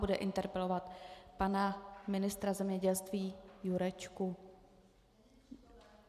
Bude interpelovat pana ministra zemědělství Jurečku.